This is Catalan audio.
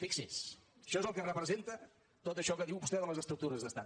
fixi’s això és el que representa tot això que diu vostè de les estructures d’estat